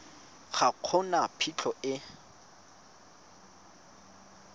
ga go na phitlho e